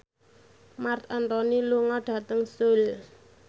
Marc Anthony lunga dhateng Seoul